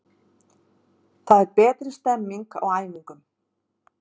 Það er betri stemming á æfingum.